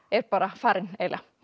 er bara farinn eiginlega